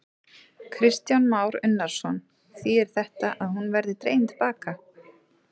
Kristján Már Unnarsson: Þýðir þetta að hún verði dregin til baka?